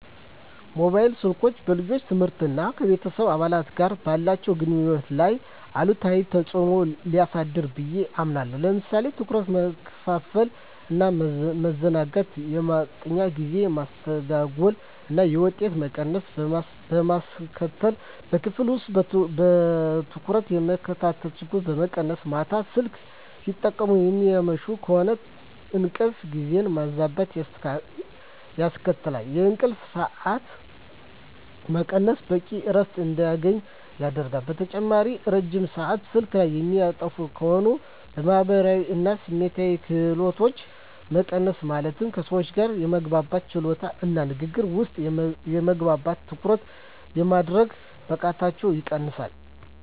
ሞባይል ስልኮች በልጆች ትምህርት እና ከቤተሰብ አባላት ጋር ባላቸው ግንኙነት ላይ አሉታዊ ተጽዕኖ ሊያሳድሩ ብየ አምናለሁ። ለምሳሌ ትኩረት መከፋፈል እና ማዘናጋት፣ የማጥኛ ጊዜ መስተጓጎል እና የውጤት መቀነስ በማስከትል፣ በክፍል ውስጥ በትኩረት የመከታተል ችሎታን በመቀነስ፣ ማታ ስልክ ሲጠቀሙ የሚያመሹ ከሆነ እንቅልፍ ጊዜን ማዛባት ያስከትላል፣ የእንቅልፍ ሰዓት መቀነስ በቂ እረፍት እንዳያገኙ ያደርጋል። በተጨማሪም ረጅም ሰአት ስልክ ላይ የሚያጠፉ ከሆነ የማህበራዊ እና ስሜታዊ ክህሎቶች መቀነስ ማለትም ከሰዎች ጋር የመግባባት ችሎታቸውን እና ንግግር ውስጥ የመግባት እና ትኩረት የማድረግ ብቃታቸውን ይቀንሰዋል።